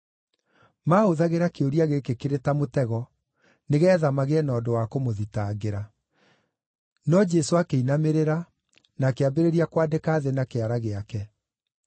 Maahũthagĩra kĩũria gĩkĩ kĩrĩ ta mũtego, nĩgeetha magĩe na ũndũ wa kũmũthitangĩra. No Jesũ akĩinamĩrĩra, na akĩambĩrĩria kwandĩka thĩ na kĩara gĩake.